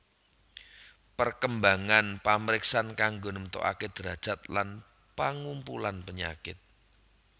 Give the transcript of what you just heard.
Perkembangan pamriksan kanggo nemtokaké drajat lan pangumpulan penyakit